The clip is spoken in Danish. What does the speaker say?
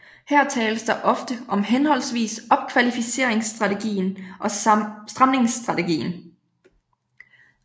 Her tales der ofte om henholdsvis opkvalificeringsstrategien og stramningsstrategien